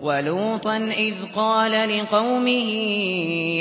وَلُوطًا إِذْ قَالَ لِقَوْمِهِ